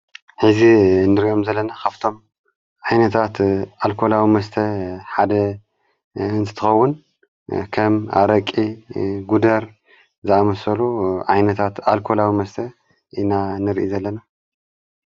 ሕዚ እንድርገም ዘለኒ ኻፍቶም ዓይነታት ኣልኮላዊ መስተ ሓደ እንትትኸውን ከም ኣረቂ ጉደር ዝኣመሰሉ ዓይነታት ኣልኮላዊ መስተ ኢና ንርኢ ዘለና።